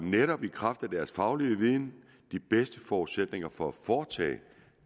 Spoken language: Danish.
netop i kraft af deres faglige viden de bedste forudsætninger for at foretage